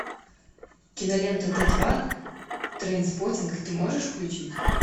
кинолента т два трейнспоттинг ты можешь включить